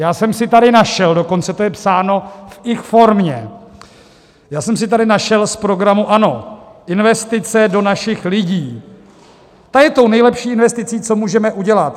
Já jsem si tady našel - dokonce to je psáno v ich-formě - já jsem si tady našel z programu ANO: "Investice do našich lidí, ta je tou nejlepší investicí, co můžeme udělat.